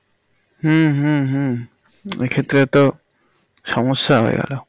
হম হম হম এক্ষেত্রে তো সমস্যা হয়ে গেল